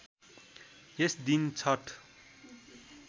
यस दिन छठ